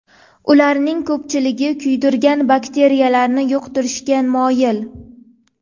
Ularning ko‘pchiligi kuydirgi bakteriyalarini yuqtirishga moyil.